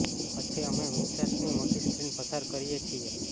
પછી અમે મિન્સર્સની મોટી સ્ક્રીન પસાર કરીએ છીએ